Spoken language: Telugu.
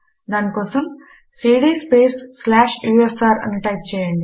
దాని కోసం సీడీ స్పేస్ స్లాష్ యూఎస్ఆర్ అని టైప్ చేయండి